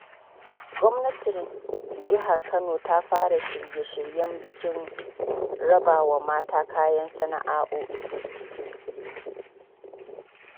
Gwamnatin Jihar Kano ta fara shirye-shiryen bikin raba wa mata kayan sana’o’i.